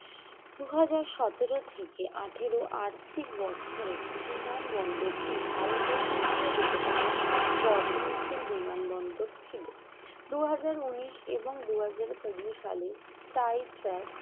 দুই হাজার সতেরো থেকে আঠারো আর্থিক বছরের বিমান বন্দরটি ভারতের তৃতীয় দ্রুততম বর্ধনশীল বিমানবন্দর ছিল দুই হাজার উনিশ এবং দুই হাজার কুড়ি সালের flight track